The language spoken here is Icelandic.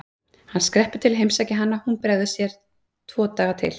Hann skreppur til að heimsækja hana og hún bregður sér tvo daga til